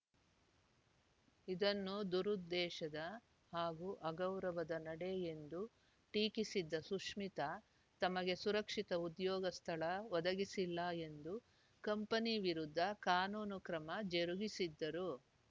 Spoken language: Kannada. ಇದನ್ನು ದುರುದ್ದೇಶದ ಹಾಗೂ ಅಗೌರವದ ನಡೆ ಎಂದು ಟೀಕಿಸಿದ್ದ ಸುಶ್ಮಿತಾ ತಮಗೆ ಸುರಕ್ಷಿತ ಉದ್ಯೋಗ ಸ್ಥಳ ಒದಗಿಸಿಲ್ಲ ಎಂದು ಕಂಪನಿ ವಿರುದ್ಧ ಕಾನೂನು ಕ್ರಮ ಜರುಗಿಸಿದ್ದರು